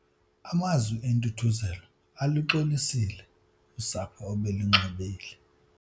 Amazwi entuthuzelo aluxolisile usapho obelinxubile.